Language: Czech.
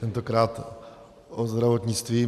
Tentokrát o zdravotnictví.